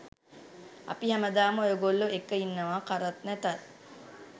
අපි හැමදාම ඔයගොල්ලෝ එක්ක ඉන්නවා කරත් නැතත්.